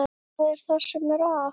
Hvað er það sem er að?